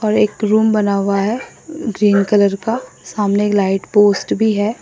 और एक रूम बना हुआ है ग्रीन कलर का सामने लाइट पोस्ट भी है।